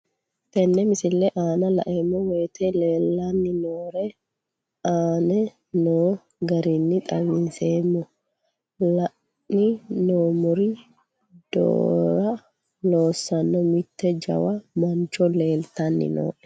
Tenne misile aana laeemmo woyte leelanni noo'ere aane noo garinni xawiseemmo. La'anni noomorri dorra loosanno mitte jawa mancho leeltanni nooe.